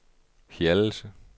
Hjallelse